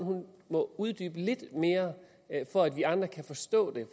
må uddybe lidt mere for at vi andre kan forstå det